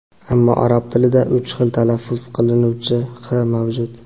Ammo arab tilida uch xil talaffuz qilinuvchi h mavjud.